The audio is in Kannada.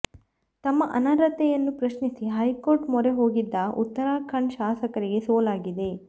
ತಮ್ಮ ಅನರ್ಹತೆಯನ್ನು ಪ್ರಶ್ನಿಸಿ ಹೈಕೋರ್ಟ್ ಮೊರೆ ಹೋಗಿದ್ದ ಉತ್ತರಾಖಂಡ್ ಶಾಸಕರಿಗೆ ಸೋಲಾಗಿದೆ